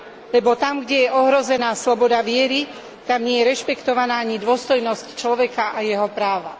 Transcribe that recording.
lebo tam, kde je ohrozená sloboda viery, tam nie je rešpektovaná ani dôstojnosť človeka a jeho práva.